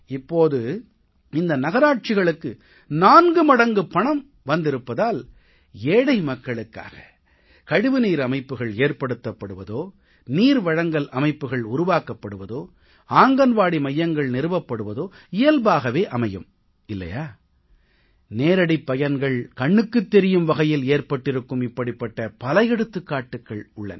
இப்போது இந்த நகராட்சிகளுக்கு 4 மடங்குப் பணம் வந்திருப்பதால் ஏழை மக்களுக்காக கழிவுநீர் அமைப்புக்கள் ஏற்படுத்தப்படுவதோ நீர் வழங்கல் அமைப்புக்கள் உருவாக்கப்படுவதோ ஆங்கன்வாடி மையங்கள் நிறுவப்படுவதோ இயல்பாகவே அமையும் இல்லையா நேரடிப் பயன்கள் கண்ணுக்குத் தெரியும் வகையில் ஏற்பட்டிருக்கும் இப்படிப்பட்ட பல எடுத்துக்காட்டுக்கள் உள்ளன